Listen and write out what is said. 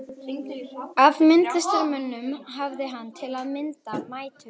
Af myndlistarmönnum hafði hann, til að mynda, mætur á